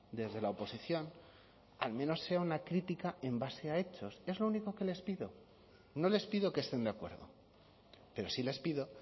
desde la oposición al menos sea una crítica en base a hechos es lo único que les pido no les pido que estén de acuerdo pero sí les pido